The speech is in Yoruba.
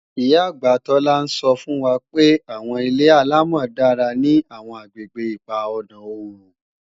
Ìyá-àgbà Tola ń sọ́ fún wa pé àwọn ilé-àlámọ̀ dára ní àwọn àgbègbè ipa ọ̀na oòrùn